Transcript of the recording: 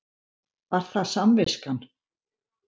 Var það samviskan?